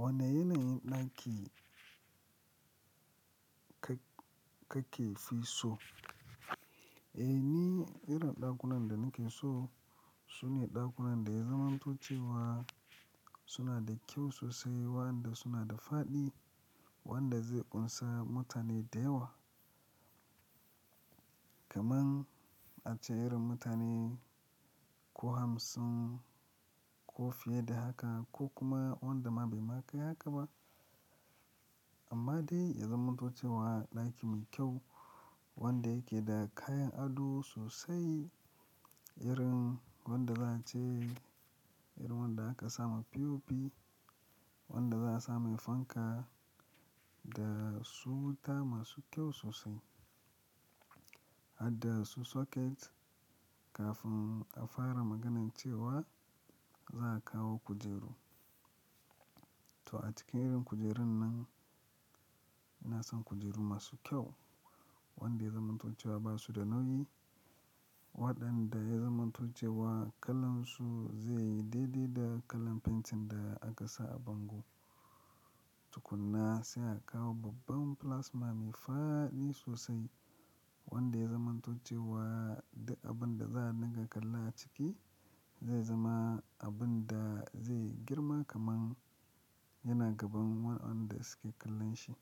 Wane yanayin ɗaki ka-ka ke fi so? Eh ni irin ɗakunan da nake so su ne ɗakunan da ya zamanto cewa suna da kyau sosai, wanda suna da fadi, wanda zai ƙunsa mutane da yawa. Kaman a ce irin mutane ko hamsin ko fiye da haka ko kuma wanda ma bai ma kai haka ba. Amma dai ya zamanto cewa ɗaki mai kyau wanda yake da kayan ado sosai irin wanda za a ce irin wanda aka samu POP, wanda za a samu fanka da su wuta masu kyau sosai. Hadda su socket kafin a fara maganan cewa za a kawo kujeru. To a cikin irin kujerun nan, ina son kujeru masu kyau wanda ya zamanto cewa ba su da nauyi waɗanda ya zamanto cewa kalan su zai yi daidai da kalan fentin da aka sa a bango. Tukuna sai a kawo babban plasma mai fadi sosai wanda ya zamanto cewa d-abun da za a dinga kalla a ciki zai zama abun da zai girma kaman yana gaban wadanda suke kallon shi.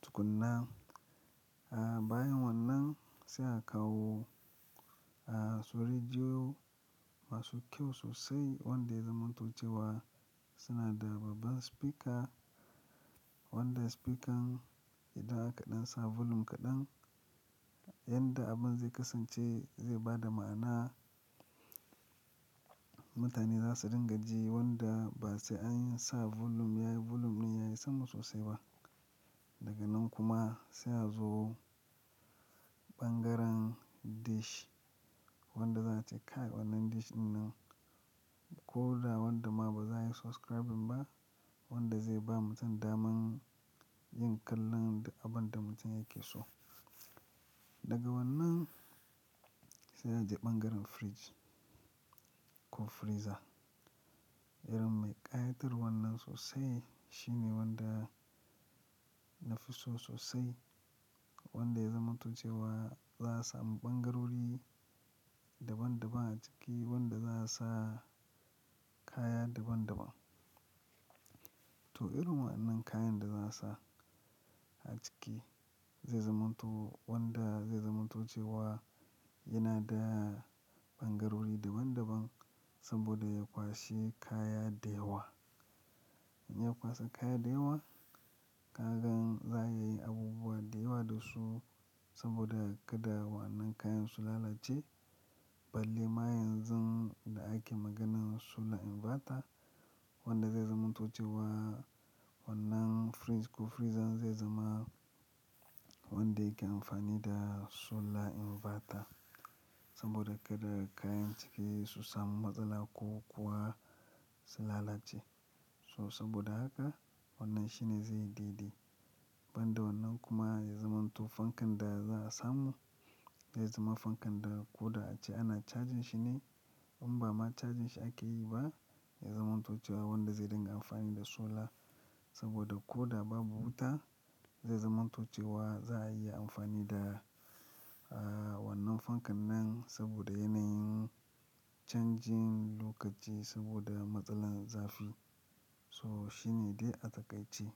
Tukuna, a baya wannan sai a kawo, su rediyo masu kyau sosai wanda ya zamanto cewa suna da babban speaker wanda spesker idan aka ɗan sa volume kaɗan, yadda abun zai kasance zai bada ma'ana. Mutane za su dinga ji wanda ba sai an sa volume yayi volume din yayi sama sosai ba. Daga nan kuma sai a zo ɓangaren dish wanda za a ce kai wannan dish ɗin nan ko da wanda ma ba za a yi subscribing ba wanda zai ba mutum daman yin kallon duk abun da mutum yake so. Daga wannan sai a je ɓangaren fridge ko freezer. Irin mai ƙayatarwan wannan sosai shine wanda na fi so sosai wanda ya zamanto cewa za a samu ɓangarori daban daban a ciki wanda za a sa kaya daban daban. To irin waɗannan kayan da za a sa a ciki zai zamanto wanda zai zamanto cewa yana da ɓangarori daban daban saboda ya kwashe kaya da yawa. In ya kwashe kaya da yawa, ka gan za a yi abubuwa da yawa da su saboda kada wannan kayan su lalace. Balle ma yanzu inda ake maganan solar inverter wanda zai zamanto cewa wannan fridge ko freezer zai zama wanda yake amfani da solar inverter saboda kaɗa kayan ciki su samu matsala ko kuwa su lalace. So saboda haka wannan shi ne zai yi daidai. Banda wannan kuma ya zamanto fankan da za a samu zai zama fankan da ko da a ce ana cajin shi ne in ba ma cajin shi ake yi ba ya zamanto cewa wanda zai dinga amfani da solar saboda ko da babu wuta zai zamanto cewa za a iya amfani da, wannan fankan nan saboda yanayin canjin lokaci saboda matsalar zafi. So shi ne dai a takaice.